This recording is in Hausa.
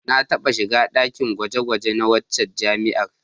Na taɓa shiga ɗakin gwaje-gwaje na waccan jami'ar.